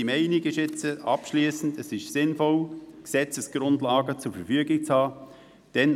Unsere abschliessende Meinung ist, dass es sinnvoll ist, die Gesetzesgrundlage zur Verfügung zu haben.